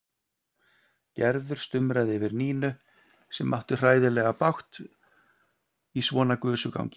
Gerður stumraði yfir Nínu sem átti hræðilega bágt í svona gusugangi.